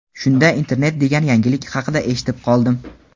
Shunda internet degan yangilik haqida eshitib qoldim.